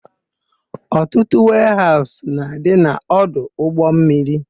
Ọtụtụ weehaụsụ na-adị n'ọdụ ụgbọmmiri.